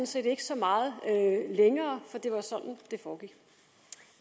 set ikke så meget længere for